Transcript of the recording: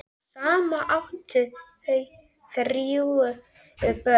Saman áttu þau þrjú börn.